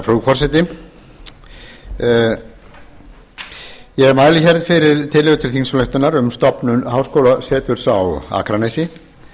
frú forseti ég mæli hér fyrir tillögu til þingsályktunar um stofnun háskólaseturs á akranesi